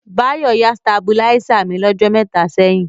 Báyọ̀ yá stàbúláisè mí lọ́jọ́ mẹta ṣẹ̀yìn.